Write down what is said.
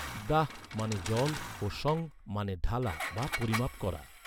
দাঃ মানে জল ও সং মানে ঢালা বা পরিমাপ করা।